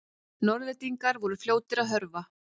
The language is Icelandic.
Norðlendingarnir voru fljótir að hörfa.